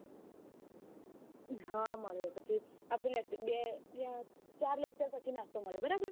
હા મળે પછી આપડો બે ચાર lecture પછી નાસ્તો મળે બરાબર